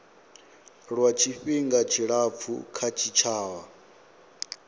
lwa tshifhinga tshilapfu kha tshitshavha